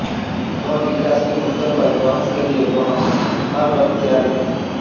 वह विकास के मुद्दों पर बहस के लिए वह हर वक्त तैयार है